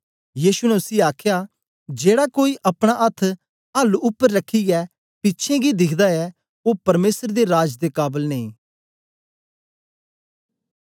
यीशु ने उसी आखया जेड़ा कोई अपना अथ्थ हल उपर रखियै पिछें गी दिखदा ऐ ओ परमेसर दे राज दे काबल नेई